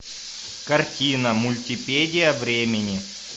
картина мультипедия времени